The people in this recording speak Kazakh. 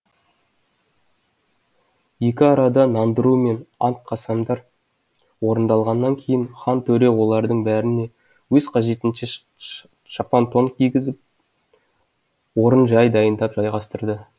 екі арада нандыру мен ант қасамдар орындалғаннан кейін хан төре олардың бәріне өз қажетінше шапан тон кигізіп орын жай дайындап жайғастырды